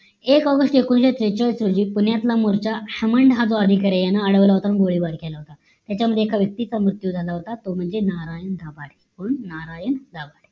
एक ऑगस्ट एकोणीशे त्रेचाळीस रोजी पुण्यातला मोर्च्या हमन या अधिकाऱ्याने अडवलं होत आणि गोळीबार केलं होत याच्या मध्ये एका व्यक्तीचा मृत्यू झाला होता तो म्हणजे नारायण दाभाडे कोण नारायण दाभाडे